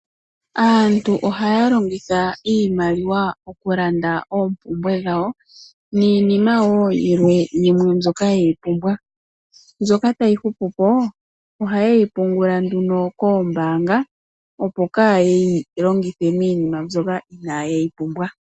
Aantu ohaya longitha iimaliwa okulanda oompumbwe dhawo niinima woo yilwe mbyoka yeyi pumbwa. Mbyoka tayi hupu po ohaye yi pungula nduno koombanga opo kaaye yi longithe miinima mbyoka inaaye yi pumbwa.